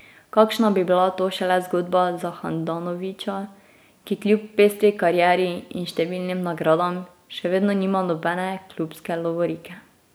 Kakšna bi bila to šele zgodba za Handanovića, ki kljub pestri karieri in številnim nagradam še vedno nima nobene klubske lovorike ...